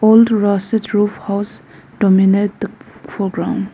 Old rusted roof house dominate the foreground.